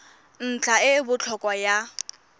ntlha e e botlhokwa ya